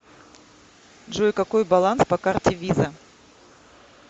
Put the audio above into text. джой какой баланс по карте виза